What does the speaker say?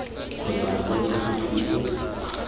kgotsa kwa ntle ga thuso